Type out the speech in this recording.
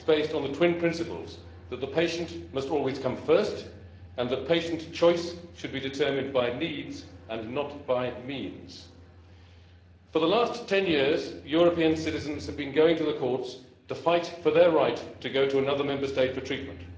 on the twin principles that the patient must always come first and that patient choice should be determined by needs and not by means. For the last 10 years, European citizens have been going to the courts to fight for their right to go to another Member State for treatment.